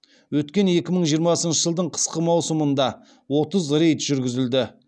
өткен екі мың жиырмасыншы жылдың қысқы маусымында отыз рейд жүргізілді